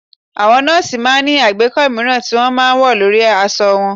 Àwọn nọ́ọ̀sì máa ń ní àgbékọ́ mìíràn tí wọ́n máa ń wọ̀ lórí aṣọ wọn